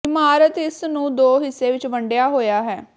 ਇਮਾਰਤ ਇਸ ਨੂੰ ਦੋ ਹਿੱਸੇ ਵਿੱਚ ਵੰਡਿਆ ਹੋਇਆ ਹੈ